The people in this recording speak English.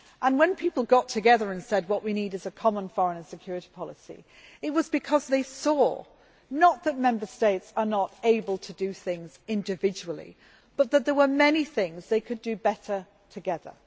When people got together and said what we need is a Common Foreign and Security Policy, it was because they saw not that Member States were not able to do things individually, but that there were many things they could do better together.